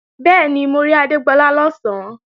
Bẹ́ẹ̀ni, mo rí Adégbọlá lọ̀sán